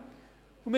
Herzlichen Dank!